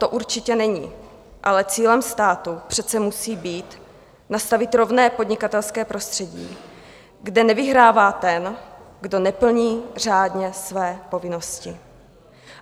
To určitě není, ale cílem státu přece musí být nastavit rovné podnikatelské prostředí, kde nevyhrává ten, kdo neplní řádně své povinnosti.